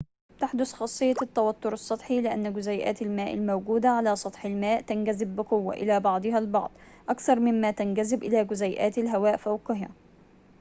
تحدث خاصيّة التوتّر السّطحي لأنّ جزيئات الماء الموجودة على سطح الماء تنجذب بقوّة إلى بعضها البعض أكثر ممّا تنجذب إلى جزيئاتِ الهواءِ فوقها